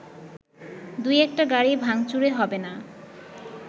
দু একটা গাড়ি ভাংচুরে হবেনা